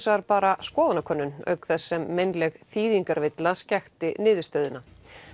vegar bara skoðanakönnun auk þess sem meinleg þýðingarvilla skekkti niðurstöðuna